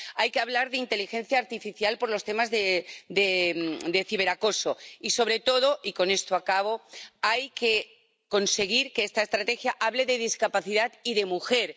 Hay que hablar de inteligencia artificial por los temas de ciberacoso y, sobre todo, hay que conseguir que esta Estrategia hable de discapacidad y de mujer.